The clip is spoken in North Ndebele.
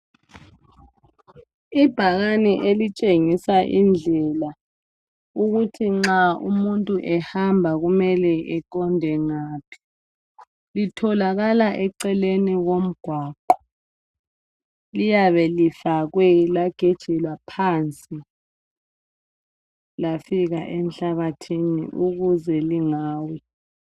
ibhakane elitshengisa indlela ukuthi nxa umuntu ehamba kumele eqonde ngaphi litholakala eceleni komgwaqo liyabe lifakwe lagejelwa phansi lafika enhlabathini ukuze lingawi